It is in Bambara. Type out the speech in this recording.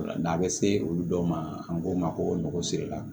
N'a bɛ se olu dɔw ma an k'o ma ko nɔgɔ siri la